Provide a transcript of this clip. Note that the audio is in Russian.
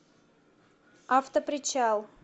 автопричал